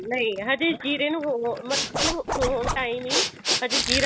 ਨਹੀਂ ਹਜੇ ਜ਼ੀਰੇ ਨੂੰ ਹੋਰ ਮਤਲਬ ਹੋਰ time ਲਈ ਹਜੇ ਜ਼ੀਰਾ